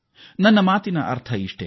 ನನ್ನ ಮಾತಿನ ಅರ್ಥ ಇಷ್ಟೇ